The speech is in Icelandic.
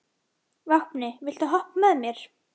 Vápni, viltu hoppa með mér?